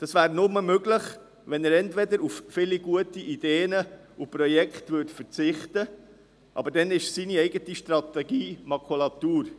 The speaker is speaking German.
Dies wäre nur möglich, wenn er auf viele gute Ideen und Projekte verzichtete, doch dann ist seine eigene Strategie Makulatur.